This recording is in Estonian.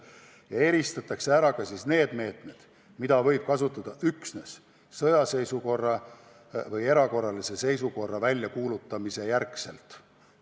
Ja eristatud on ka meetmed, mida võib kasutada üksnes sõjaseisukorra või erakorralise seisukorra väljakuulutamise korral.